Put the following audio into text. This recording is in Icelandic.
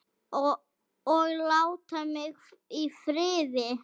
OG LÁTA MIG Í FRIÐI!